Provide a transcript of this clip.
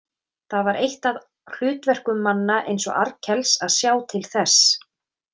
Það var eitt af hlutverkum manna eins og Arnkels að sjá til þess.